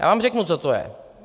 Já vám řeknu, co to je.